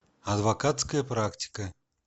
адвокатская практика